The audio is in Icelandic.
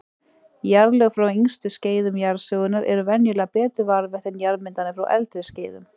Jarðlög frá yngstu skeiðum jarðsögunnar eru venjulega betur varðveitt en jarðmyndanir frá eldri skeiðum.